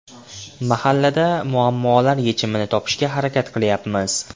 Mahallada muammolar yechimini topishga harakat qilyapmiz.